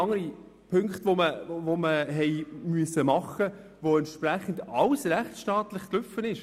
Zudem mussten wir andere Punkte erfüllen, nach welchen alles rechtsstaatlich gelaufen ist.